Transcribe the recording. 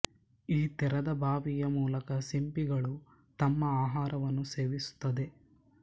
ಈ ತೆರೆದ ಬಾಯಿಯ ಮೂಲಕ ಸಿಂಪಿಗಳು ತಮ್ಮ ಆಹಾರವನ್ನು ಸೇವಿಸುತ್ತದೆ